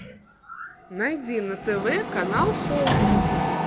найди на тв канал хоум